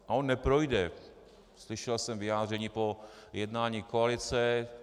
A on neprojde, slyšel jsem vyjádření po jednání koalice.